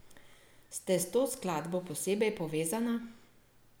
Ste s to skladbo posebej povezana?